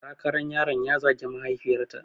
Sakaran yaron ya zagi mahaifiyarta